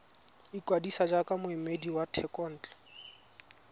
ikwadisa jaaka moemedi wa thekontle